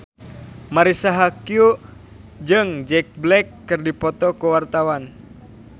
Marisa Haque jeung Jack Black keur dipoto ku wartawan